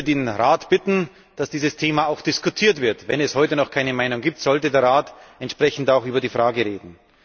Ich würde den Rat bitten, dass dieses Thema auch diskutiert wird. Wenn es heute noch keine Meinung gibt, sollte der Rat entsprechend auch über die Frage reden.